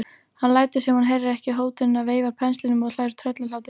Hann lætur sem hann heyri ekki hótunina, veifar penslinum og hlær tröllahlátri.